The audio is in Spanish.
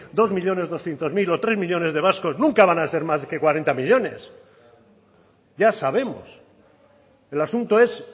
dos millónes doscientos mil o tres millónes de vascos nunca van a ser más que cuarenta millónes ya sabemos el asunto es